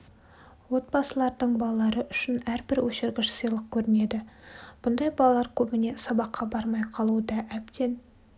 отбасылардың балалары үшін әрбір өшіргіш сыйлық көрінеді бұндай балалар көбіне сабаққа бармай қалуы да әбден